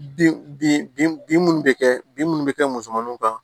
Bin bin minnu bɛ kɛ bin minnu bɛ kɛ musomaninw kan